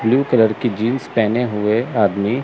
blue colour की jeans पेहने हुए आदमी--